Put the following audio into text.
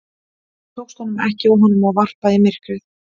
Það tókst honum ekki og honum var varpað í myrkrið.